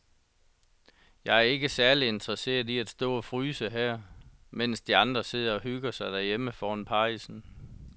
Jeg er ikke særlig interesseret i at stå og fryse her, mens de andre sidder og hygger sig derhjemme foran pejsen.